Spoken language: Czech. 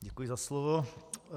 Děkuji za slovo.